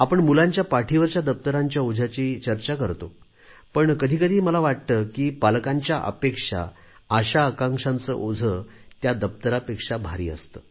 आपण मुलांच्या पाठीवरच्या दप्तरांच्या ओझ्यांची चर्चा करतो पण कधी कधी मला वाटते की पालकांच्या अपेक्षा आशाआकांक्षाचे ओझे त्या दप्तरांपेक्षा भारी असते